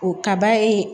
O kaba ye